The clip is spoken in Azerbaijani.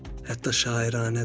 Hətta şairanədir.